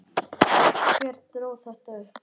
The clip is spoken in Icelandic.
Hver dró þetta upp?